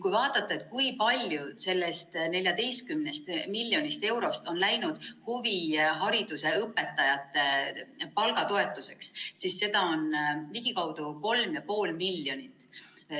Kui vaadata, kui palju sellest 14 miljonist eurost on läinud huvihariduse õpetajate palgatoetuseks, siis seda on ligikaudu 3,5 miljonit.